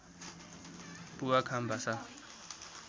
पुवा खाम भाषा